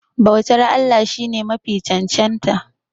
bautar Allah shi ne Mafi cancanta